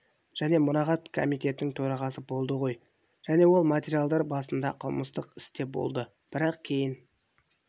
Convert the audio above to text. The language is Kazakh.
және мұрағат комитетінің төрағасы болды ғой және ол материалдар басында қылмыстық істе болды бірақ кейін